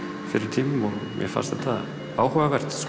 tímapunkti mér fannst þetta áhugavert